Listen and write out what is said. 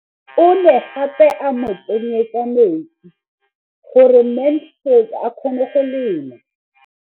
O ne gape a mo tsenyetsa metsi gore Mansfield a kgone go lema.